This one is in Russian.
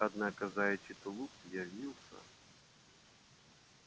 однако заячий тулуп явился